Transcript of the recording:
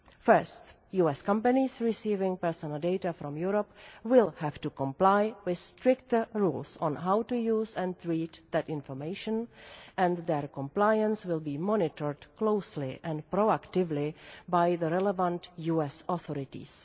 First, US companies receiving personal data from Europe will have to comply with stricter rules on how to use and read that information, and their compliance will be monitored closely and proactively by the relevant US authorities.